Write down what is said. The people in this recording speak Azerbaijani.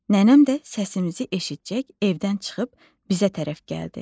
Nənəm də səsimizi eşitcək evdən çıxıb bizə tərəf gəldi.